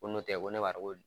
Ko n'o tɛ ko ne b'a dɔn ko